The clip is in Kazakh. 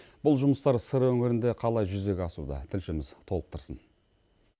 бұл жұмыстар сыр өңірінде қалай жүзеге асуда тілшіміз толықтырсын